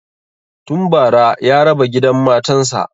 Tun bara ya raba gidan matan sa